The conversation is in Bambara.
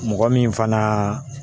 Mɔgɔ min fana